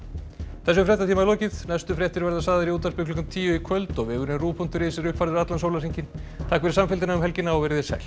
þessum fréttatíma er lokið næstu fréttir verða sagðar í útvarpi klukkan tíu í kvöld og vefurinn ruv punktur is er uppfærður allan sólarhringinn takk fyrir samfylgdina um helgina verið þið sæl